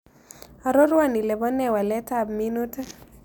Arorwon ile po nee waletap minutik